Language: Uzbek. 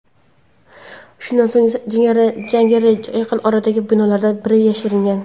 Shundan so‘ng jangari yaqin oradagi binolardan biriga yashiringan.